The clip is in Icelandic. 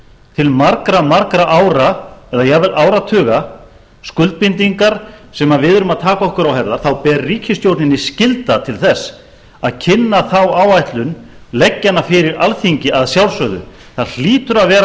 til margra margra ára eða jafnvel áratuga skuldbindingar sem við erum að taka okkur á herðar þá ber ríkisstjórninni skylda til þess að kynna þá áætlun leggja hana fyrir alþingi að sjálfsögðu það hlýtur að vera